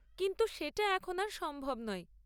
কিন্তু সেটা এখন আর সম্ভব নয়।